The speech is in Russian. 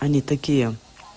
они такие